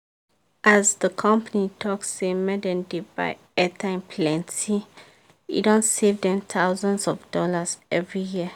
as the company talk say make dem dey buy airtime plenty e don save dem thousands of dollars every year